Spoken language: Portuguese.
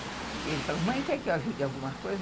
E ele falou, mãe, quer que eu ajude em alguma coisa?